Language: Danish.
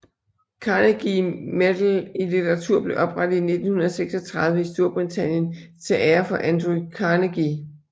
Carnegie Medal i litteratur blev oprettet i 1936 i Storbritannien til ære for Andrew Carnegie